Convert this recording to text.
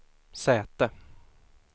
säte